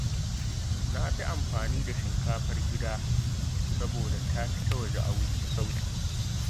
Na fi amfani da shinkafar gida, saboda ta fi ta waje sauƙi